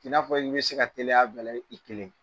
I n'a fɔ e ni ne tise ka teliy'a bɛɛ laa i kelen.